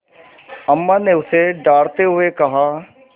अम्मा ने उसे डाँटते हुए कहा